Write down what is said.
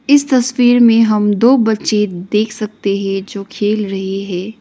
इस तस्वीर में हम दो बच्चे देख सकते है जो खेल रहे है।